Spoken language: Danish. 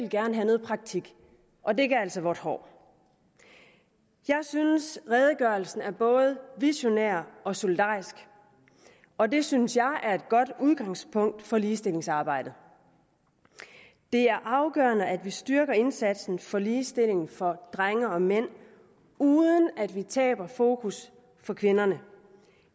gerne have noget praktik og det gav altså vådt hår jeg synes at redegørelsen er både visionær og solidarisk og det synes jeg er et godt udgangspunkt for ligestillingsarbejdet det er afgørende at vi styrker indsatsen for ligestilling for drenge og mænd uden at vi taber fokus på kvinderne